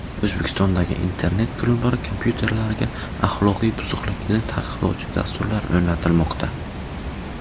O‘zbekistondagi internet klublar kompyuterlariga axloqiy buzuqlikni taqiqlovchi dasturlar o‘rnatilmoqda.